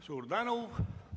Suur tänu!